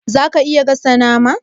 Zaka iya gasa nama?